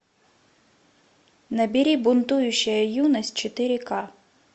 набери бунтующая юность четыре ка